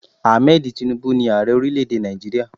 Ahmed Tinubu ní Ààrẹ orílẹ̀ èdè Nàìjíríà.